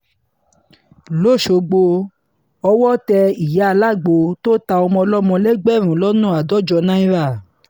lọ́sogbó owó tẹ ìyá alágbó tó ta ọmọ ọlọ́mọ lẹ́gbẹ̀rún lọ́nà àádọ́jọ náírà